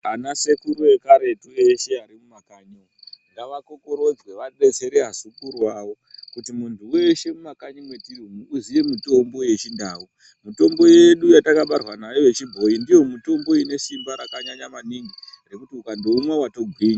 Anasekuru ekaretu eshe ari mumakanyi umwu ngavakokorodzwe vadetsere vazukuru vavo kuti muntu weshe uri mumakanyi mwetiri umwu aziye mitombo yechindau. Mitombo yedu yatakabarwa nayo yechibhoyi mitombo ine simba rakanyanya maningi rekuti ukandoumwa watogwinya.